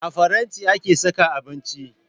A faranti ake saka abinci